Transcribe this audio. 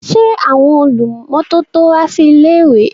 Ṣé àwọn olùmọ́tótó wá sí ilé-ìwé?